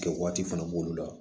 Kɛ waati fana b'olu la